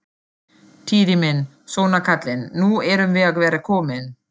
Týri minn, svona kallinn, nú erum við að verða komin.